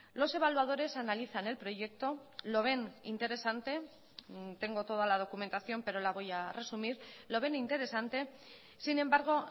los evaluadores analizan el proyecto lo ven interesante tengo toda la documentación pero la voy a resumir lo ven interesante sin embargo